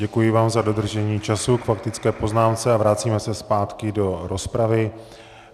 Děkuji vám za dodržení času k faktické poznámce a vracíme se zpátky do rozpravy.